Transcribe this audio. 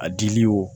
A dili wo